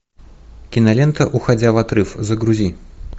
кинолента уходя в отрыв загрузи